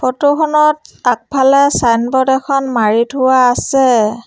Photo খনত আগফালে signboard এখন মাৰি থোৱা আছে।